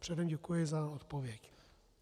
Předem děkuji za odpověď.